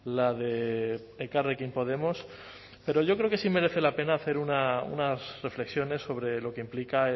la de elkarrekin podemos pero yo creo que sí merece la pena hacer unas reflexiones sobre lo que implica